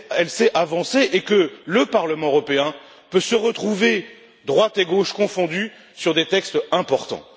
sait avancer, et que le Parlement européen peut se retrouver, droite et gauche confondues, sur des textes importants.